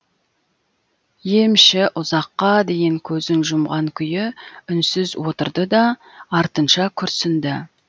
емші ұзаққа дейін көзін жұмған күйі үнсіз отырды да артынша күрсінді